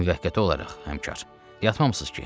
Müvəqqəti olaraq, həmkar, yatmamısınız ki?